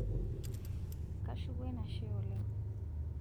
kashuku enashe oleng